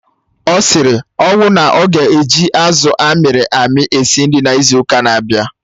O siri ọnwụ na ọ ga-eji azụ̀ amịrị amị esi nri n'izu ụka na-abịa